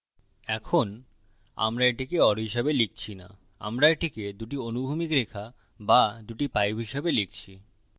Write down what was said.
এখন আমরা এটিকে or হিসাবে লিখছি now আমরা এটিকে দুটি অনুভূমিক রেখা বা দুটি pipes হিসাবে লিখছি